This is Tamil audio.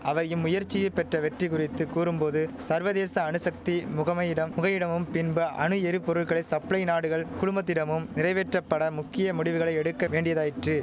அவை இம்முயற்சியி பெற்ற வெற்றி குறித்து கூறும் போது சர்வதேச அணுசக்தி முகமையிடம் முகையிடமும் பின்ப அணு எரிபொருள்களை சப்ளை நாடுகள் குழுமத்திடமும் நிறைவேற்றப்பட முக்கிய முடிவுகள் எடுக்க வேண்டியதாயிற்று